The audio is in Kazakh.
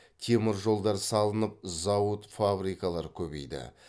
теміржолдар салынып зауыт фабрикалар көбейді